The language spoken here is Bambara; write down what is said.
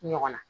Ɲɔgɔn na